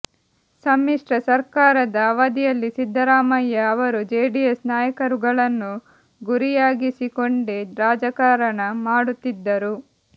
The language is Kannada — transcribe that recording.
ಸಮ್ಮಿಶ್ರ ಸರ್ಕಾರದ ಅವಧಿಯಲ್ಲಿ ಸಿದ್ದರಾಮಯ್ಯ ಅವರು ಜೆಡಿಎಸ್ ನಾಯಕರುಗಳನ್ನು ಗುರಿಯಾಗಿಸಿಕೊಂಡೆ ರಾಜಕಾರಣ ಮಾಡುತ್ತಿದ್ದರು